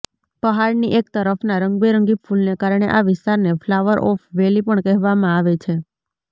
પહાડની એક તરફના રંગબેરંગી ફૂલને કારણે આ વિસ્તારને ફ્લાવર ઓફ વેલી પણ કહેવામાં આવે છે